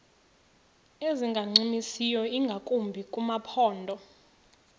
ezingancumisiyo ingakumbi kumaphondo